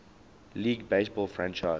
league baseball franchise